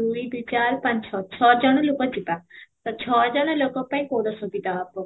ଦୁଇ ଦୁଇ ଚାର ପାଞ୍ଚ ଛଅ, ଛଅ ଜଣ ଲୋକ ଯିବା ତ ଛଅ ଜଣ ଲୋକଙ୍କ ପାଇଁ କୋଉଟା ସୁବିଧା ହବ?